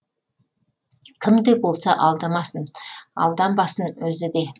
кім де болса алдамасын алданбасын өзі де